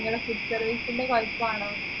നിങ്ങളെ food service ന്റെ കൊഴപ്പാണോ